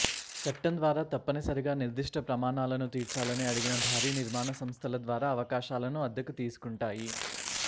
చట్టం ద్వారా తప్పనిసరిగా నిర్దిష్ట ప్రమాణాలను తీర్చాలని అడిగిన భారీ నిర్మాణ సంస్థల ద్వారా అవకాశాలను అద్దెకు తీసుకుంటాయి